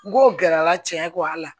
N go gɛrɛla cɛ kɔ a la